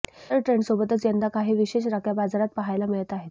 इतर ट्रंडसोबतच यंदा काही विशेष राख्या बाजारात पाहायला मिळत आहेत